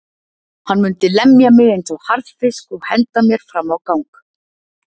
Hann mundi lemja mig eins og harðfisk og henda mér fram á gang.